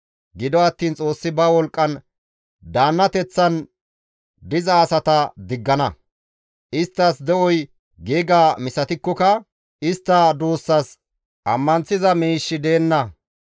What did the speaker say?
Gido attiin Xoossi ba wolqqan daannateththan diza asata diggana; isttas de7oy giiga misatikkoka istta duussas ammanththiza miishshi deenna.